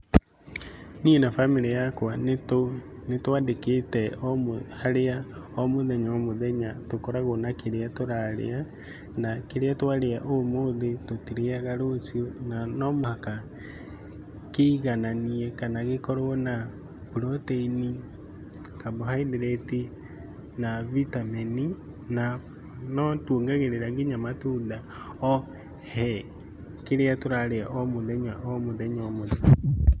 Niĩ na bamĩrĩ yakwa, nĩ twandĩkĩte o harĩa o mũthenya o mũthenya tũkoragwo na kĩrĩa tũrarĩa, na kĩrĩa twarĩa ũmũthĩ, tũtirĩaga rũciũ na no mũhaka kĩigananie kana gĩkorwo na protein, carbohydrate, na vitamin, na no tuongagĩrĩra nginya matunda o he kĩrĩa tũrarĩa o mũthenya o mũthenya o mũthenya.